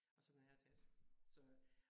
Og så den her taske så